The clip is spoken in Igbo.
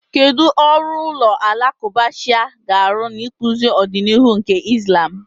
Kedu ọrụ ụlọ alakụba Shia ga-arụ n'ịkpụzi ọdịnihu nke Islam?